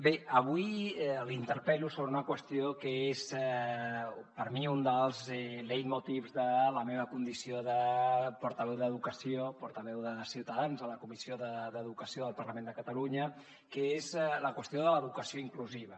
bé avui l’interpel·lo sobre una qüestió que és per a mi un dels leitmotiv de la meva condició de portaveu d’educació portaveu de ciutadans a la comissió d’educació del parlament de catalunya que és la qüestió de l’educació inclusiva